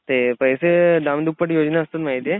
ते पैसे दाम दुप्पट योजना असतात माहितीये?